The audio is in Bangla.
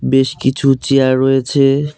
বেশ কিছু চেয়ার রয়েছে।